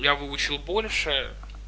я выучил больше